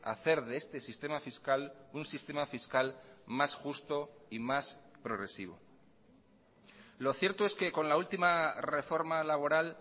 hacer de este sistema fiscal un sistema fiscal más justo y más progresivo lo cierto es que con la última reforma laboral